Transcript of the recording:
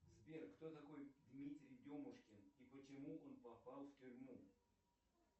сбер кто такой дмитрий демушкин и почему он попал в тюрьму